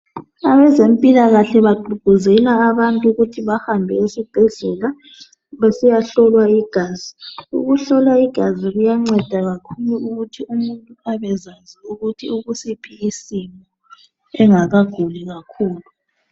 Abezempilakahle bagqugquzela abantu ukuthi bahambe esibhedlela besiyahlolwa igazi. Ukuhlolwa igazi kuyanceda kakhulu ukuthi umuntu abezazi ukuthi ukusiphi isimo engakaguli kakhulu.